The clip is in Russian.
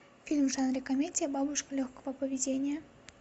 фильм в жанре комедия бабушка легкого поведения